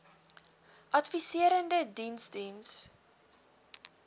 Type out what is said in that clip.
adviserende diens diens